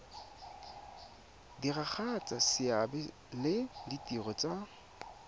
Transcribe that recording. diragatsa seabe le ditiro tsa